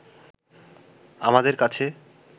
আমাদের কাছে